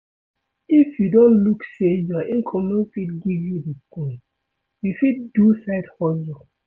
If you don look sey your income no fit give you di thing, you fit do side hustle